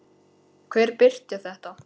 Hver birti þetta?